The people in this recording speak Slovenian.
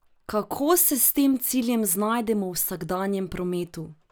Kako se s tem ciljem znajdemo v vsakdanjem prometu?